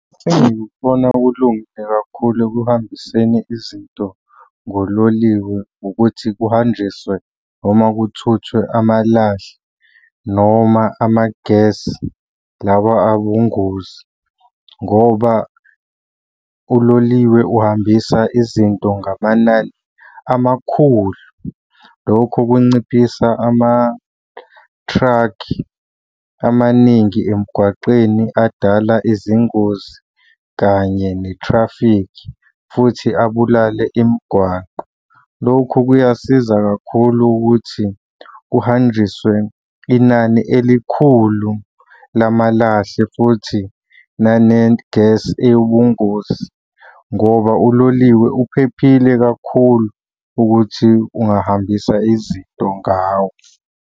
Sengikubona kulungile kakhulu ekuhambiseni izinto ngololiwe ukuthi kuhanjiswe noma kuthuthwe amalahle noma ama-gas lawa awungozi ngoba uloliwe uhambisa izinto ngamanani amakhulu. Lokho kunciphisa amathrakhi amaningi emgwaqeni adala izingozi kanye ne-traffic, futhi abulale imigwaqo. Lokhu kuyasiza kakhulu ukuthi kuhanjiswe inani elikhulu lamalahle futhi nane-gas eyibungozi ngoba uloliwe uphephile kakhulu ukuthi ungahambisa izinto ngawo.